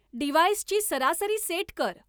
डिव्हाइसची सरासरी सेट कर